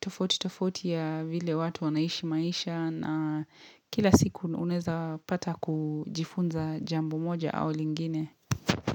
tofauti tofauti ya vile watu wanaishi maisha na kila siku unaweza pata kujifunza jambo moja au lingine.